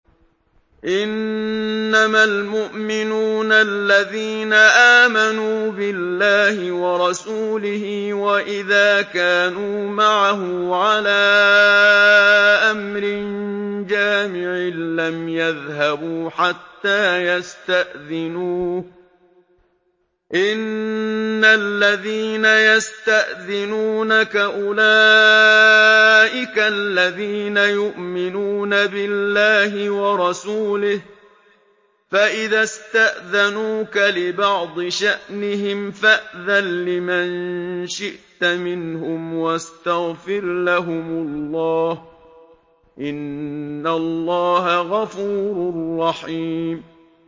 إِنَّمَا الْمُؤْمِنُونَ الَّذِينَ آمَنُوا بِاللَّهِ وَرَسُولِهِ وَإِذَا كَانُوا مَعَهُ عَلَىٰ أَمْرٍ جَامِعٍ لَّمْ يَذْهَبُوا حَتَّىٰ يَسْتَأْذِنُوهُ ۚ إِنَّ الَّذِينَ يَسْتَأْذِنُونَكَ أُولَٰئِكَ الَّذِينَ يُؤْمِنُونَ بِاللَّهِ وَرَسُولِهِ ۚ فَإِذَا اسْتَأْذَنُوكَ لِبَعْضِ شَأْنِهِمْ فَأْذَن لِّمَن شِئْتَ مِنْهُمْ وَاسْتَغْفِرْ لَهُمُ اللَّهَ ۚ إِنَّ اللَّهَ غَفُورٌ رَّحِيمٌ